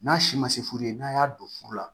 N'a si ma se furu ye n'a y'a don furu la